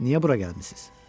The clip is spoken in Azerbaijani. Niyə bura gəlmisiniz?